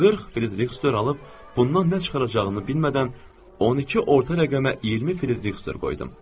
40 frieriks dor alıb, bundan nə çıxaracağını bilmədən 12 orta rəqəmə 20 frieriks dor qoydum.